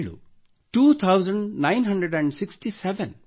two thousand nine hundred sixty seven